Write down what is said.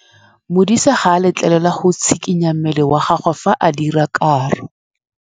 Modise ga a letlelelwa go tshikinya mmele wa gagwe fa ba dira karô.